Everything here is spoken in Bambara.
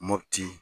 Mopti